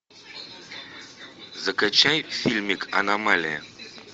закачай фильмик аномалия